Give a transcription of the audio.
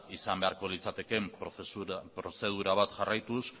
izan beharko litzatekeen prozedura bat jarraituz